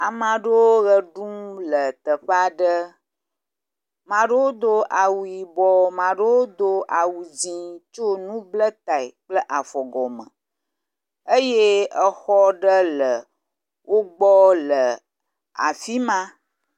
Ama ɖewo ʋe ɖum le teƒea ɖe, ma ɖewo do awu yibɔ, ma ɖewo do awu dzɛ̃tsɔ nu bla tae kple afɔ gɔme eye exɔ ɖe le wo gbɔ le afi ma.